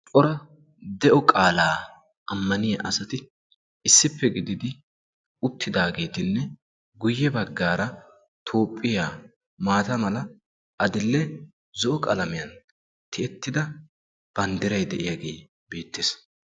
cora de'o qaalaa ammaniya asati issippe gididi uttidaageetinne guyye baggaara tophphiya maata mala, adil'e, zo'o qalamiyan tiyettida banddiray de'iyage beettes.